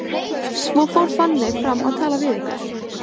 Svo fór Fanney fram að tala við ykkur.